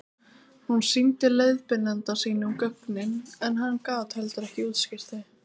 hún sýndi leiðbeinanda sínum gögnin en hann gat heldur ekki útskýrt þau